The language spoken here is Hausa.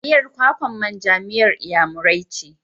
Miyar kwakan manja miyar Inyamurai ce.